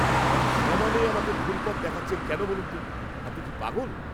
আপনি সমানে আমাকে ভুল পথ দেখাচ্ছেন কেন বলুন তো? আপনি কি পাগল?